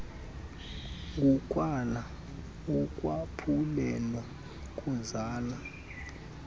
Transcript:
ukwala ukwaphulela kuzala